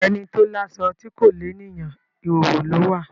Ẹni tó láṣọ tí kò lééyàn, ìhóhò ló wà.